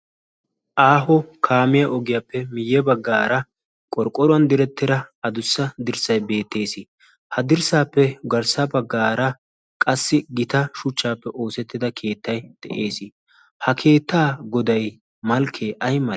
aaho kaamiya ogiyaappe miyye baggaara qorqqoruwan direttira adussa dirssai beettees ha dirssaappe garssa baggaara qassi gita shuchchaappe oosettida keettai de'ees ha keettaa goday malkkee aybe